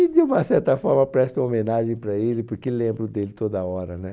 E, de uma certa forma, presto uma homenagem para ele, porque lembro dele toda hora né